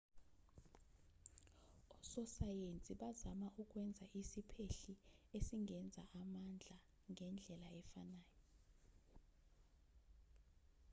ososayensi bazama ukwenza isiphehli esingenza amandla ngendlela efanayo